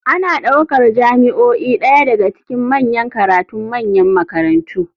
Ana ɗaukar jami'o'i ɗaya daga cikin manyan karatun manyan makarantu.